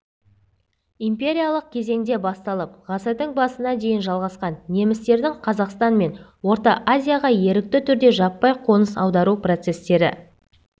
империялық кезеңде басталып ғасырдың басына дейін жалғасқан немістердің қазақстан мен орта азияға ерікті түрде жаппай қоныс аудару процестері